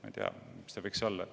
Ma ei tea, mis see võiks olla.